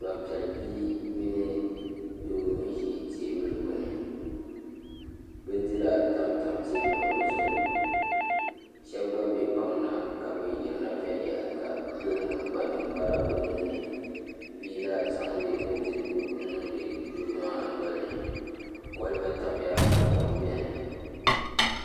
Gbanpiɛli bia mini doo n ʒi teebuli gbuni bindira tamtam teebuli ŋo zuɣu shab gba bɛ kpaŋ na ka bi yirina viɛnyɛlinga doo ŋo kpa ninkpara o ninni bia la zaŋdi bindirigu n niŋdi doo maa nolini kolba tamya ka kom biɛni